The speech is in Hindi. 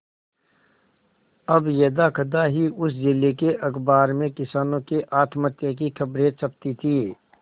अब यदाकदा ही उस जिले के अखबार में किसानों के आत्महत्या की खबरें छपती थी